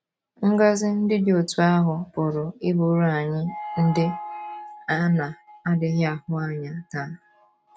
Ngọzi ndị dị otú ahụ pụrụ ịbụrụ anyị ndị “ a na - adịghị ahụ anya ” taa.